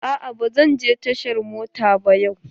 A'a ba zan je tashar mota ba yau.